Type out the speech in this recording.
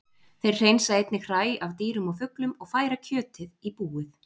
Þeir hreinsa einnig hræ af dýrum og fuglum og færa kjötið í búið.